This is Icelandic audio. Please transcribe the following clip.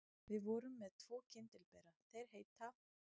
Við vorum með tvo kyndilbera, þeir heita